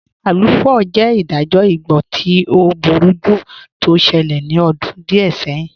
Aluu 4 jẹ́ ìdájọ̀ ìgbọ̀ tí ọ̀ búrújú tó ṣẹlẹ̀ ní ọ̀dún díẹ̀ sẹ̀hìn.